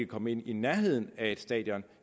komme i nærheden af stadion